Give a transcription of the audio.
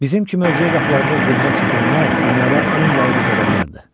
Bizim kimi özgə qapılarında zillər çəkənlər dünyada ən yalqız adamlardır.